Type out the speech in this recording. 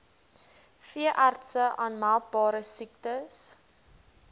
veeartse aanmeldbare siektes